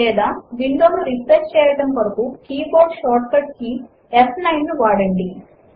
లేదా విండో ను రిఫ్రెష్ చేయడము కొరకు కీబోర్డ్ షార్ట్కట్ ఫ్9 ను వాడండి